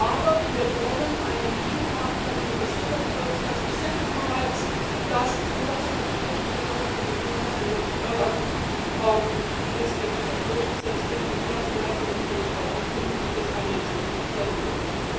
Aber wir wollen einen Deal haben, bei dem gesichert wird, dass die citizens rights und auch die Rechte der Bürgerinnen und Bürger in Nordirland letztendlich auch durchgesetzt werden und dazu gehört dann natürlich auch ein vernünftiges financial settlement.